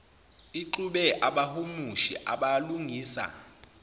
ixube abahumushi abalungisa